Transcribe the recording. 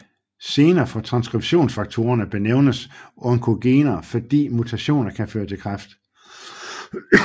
Gener for transskriptionsfaktorerne benævnes som oncogener fordi mutationer kan føre til kræft